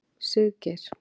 Siggeir